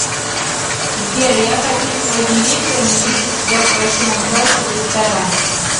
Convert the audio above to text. сбер я хочу сегодня вечером увидеть тебя в красивом платье в ресторане